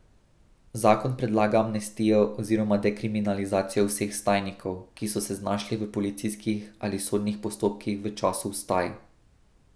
Zakon predlaga amnestijo oziroma dekriminalizacijo vseh vstajnikov, ki so se znašli v policijskih ali sodnih postopkih v času vstaj.